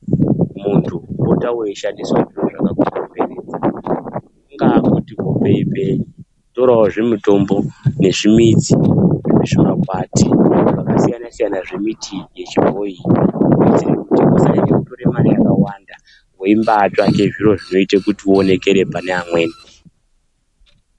Mundu pota weishandisawo zviro zvakakukomberedza kungaa kuti pembe torawo zvimutombo nezvimidzi zvimakwati zvakasiyana siyana zvemuti wechibhoyi kuitira kuti usanyanya kubuda mare yakawanda weimbsitsvaga zviro zvinoita kuti utionekerei panevamweni.